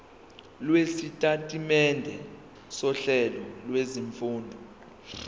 lwesitatimende sohlelo lwezifundo